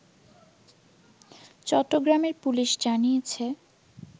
চট্টগ্রামের পুলিশ জানিয়েছে